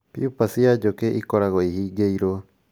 Pupa cia njũkĩ ikoragwo ihingĩirwo